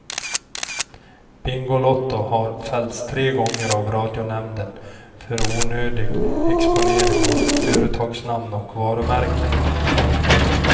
Bingolotto har fällts tre gånger av radionämnden för onödig exponering av företagsnamn och varumärke.